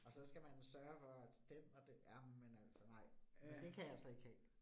Og så skal man sørge for, at den og ja, men altså nej, det kan jeg slet ikke have